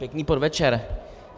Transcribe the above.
Pěkný podvečer.